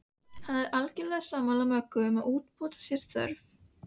Hann er algerlega sammála Möggu um að úrbóta sé þörf.